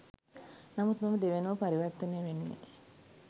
නමුත් මම දෙවැනුව පරිවර්තනය වෙන්නෙ